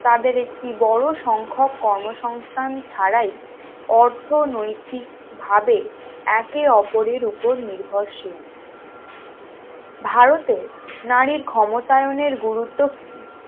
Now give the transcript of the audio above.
তাদের একটি বড় সংখ্যক কর্মসংস্থান ছাড়াই অর্থনৈতিকভাবে একে অপরের উপর নির্ভরশীল ভারতে নারীর ক্ষমতায়ন এর গুরুত্ব কি